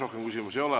Rohkem küsimusi ei ole.